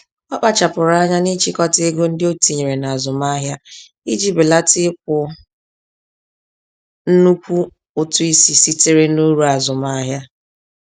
Ọ kpachapụrụ anya n'ịchịkọta ego ndị otinyere nazụmahia, iji belata ịkwụ nnukwu ụtụ-isi sitere n'uru azụmahịa